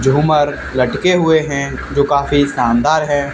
झूमर लटके हुए हैं जो काफी शानदार है।